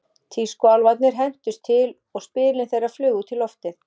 Tískuálfarnir hentust til og spilin þeirra flugu út í loftið.